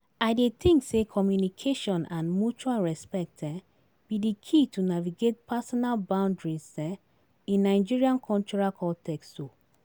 I dey think say communication and mutual respect um be di key to navigate personal boundaries um in Nigerian cultural contexts. um